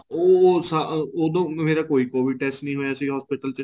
ਉਹ ਉਦੋਂ ਮੇਰਾ ਕੋਈ COVID test ਨਹੀਂ ਹੋਇਆ ਸੀ hospital ਚ